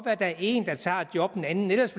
at der er en der tager et job en anden ellers